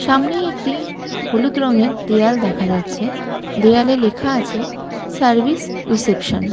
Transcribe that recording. সামনে একটি হলুদ রঙের দেয়াল দেখা যাচ্ছে দেয়ালে লেখা আছে সার্ভিস রিসেপশন ।